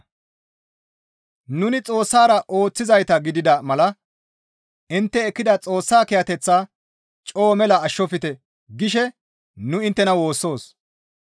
Nuni Xoossara ooththizayta gidida mala intte ekkida Xoossa kiyateththaa coo mela ashshofte gishe nu inttena woossoos.